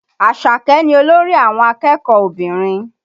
Àṣàkẹ́ ni olórí àwọn akẹ́kọ̀ọ́ obìnrin